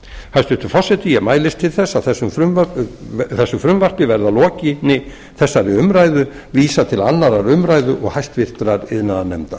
hæstvirtur forseti ég mælist til þess að þessu frumvarpi verði að lokinni þessari umræðu vísað til annarrar umræðu og háttvirtur iðnaðarnefndar